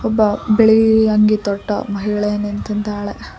ಒಬ್ಬ ಬಿಳಿ ಅಂಗಿ ತೊಟ್ಟು ಮಹಿಳೆ ನಿಂತಿದ್ದಾಳೆ.